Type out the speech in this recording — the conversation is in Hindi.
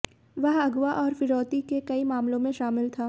वह अगवा और फिरौती के कई मामलों में शामिल था